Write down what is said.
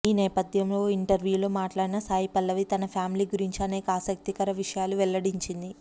ఈ నేపథ్యంలో ఓ ఇంటర్వ్యూలో మాట్లాడిన సాయి పల్లవి తన ఫ్యామిలీ గురించి అనేక ఆసక్తికర విషయాలు వెల్లడించింది